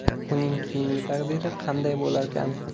Uning keyingi taqdiri qanday bo‘larkan?